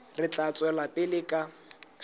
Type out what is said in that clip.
re tla tswela pele ka